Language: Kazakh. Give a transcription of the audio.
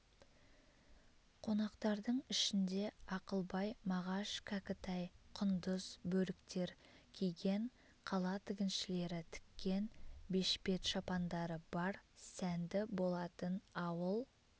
қонақтардың ішінде ақылбай мағаш кәкітай құндыз бөріктер киген қала тігіншілері тіккен бешпет-шапандары бар сәнді болатын ауыл